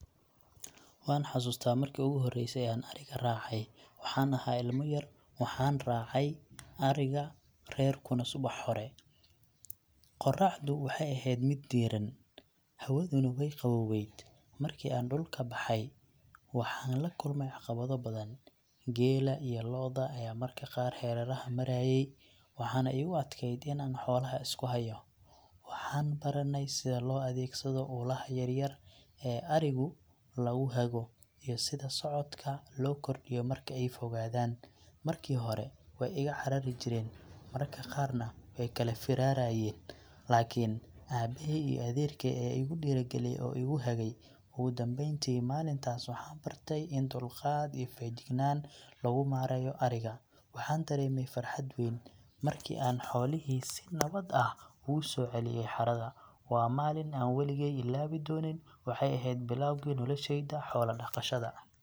Waan xasuustaa markii ugu horreysay ee aan adhiga raacay. Waxaan ahaa ilmo yar, waxaana raacay adhiga reerkuna subax hore. Qorraxdu waxay ahayd mid diiran, hawaduna way qaboweed. Markii aan dhulka baxay, waxaan la kulmay caqabado badan. Geela iyo lo’da ayaa marka qaar hareeraha marayay, waxaana igu adkaatay in aan xoolaha isku hayo. Waxaan baranay sida loo adeegsado ulaha yar yar ee adhigu lagu hago, iyo sida socodka loo kordhiyo marki ay fogaadaan. Markii hore way iga carari jireen , mararka qaarna way kala firarayeen, laakiin aabahay iyo adeerkay ayaa igu dhiirrigeliyay oo igu hagay. Ugu dambeyn, maalintaas waxaan bartay in dulqaad iyo feejignaan lagu maareeyo adhiga. Waxaan dareemay farxad weyn markii aan xoolihii si nabad ah ugu soo celiyay xerada. Waa maalin aan weligeey ilaawi doonin, waxay ahayd bilowgii noloshayda xoola dhaqashada.